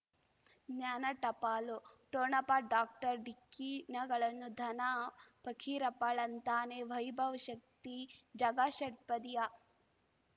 ಜ್ಞಾನ ಟಪಾಲು ಠೊಣಪ ಡಾಕ್ಟರ್ ಢಿಕ್ಕಿ ಣಗಳನು ಧನ ಫಕೀರಪ್ಪ ಳಂತಾನೆ ವೈಭವ್ ಶಕ್ತಿ ಝಗಾ ಷಟ್ಪದಿಯ